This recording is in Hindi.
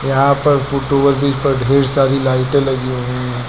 यहां पर फुट ओवर ब्रिज पर ढेर सारी लाइटें लगी हुई हैं।